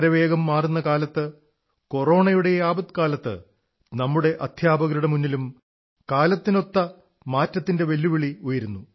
വളരെ വേഗം മാറുന്ന കാലത്ത് കൊറോണയുടെ ഈ ആപത്കാലത്ത് നമ്മുടെ അധ്യാപകരുടെ മുന്നിലും കാലത്തിനൊപ്പിച്ച് മാറ്റത്തിന്റെ വെല്ലുവിളി ഉയരുന്നു